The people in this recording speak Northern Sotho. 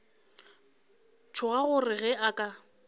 tšhoga gore ge a ka